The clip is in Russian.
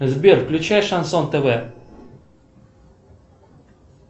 сбер включай шансон тв